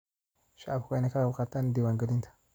Shacabku waa in ay ka qayb qaataan diwaan galinta.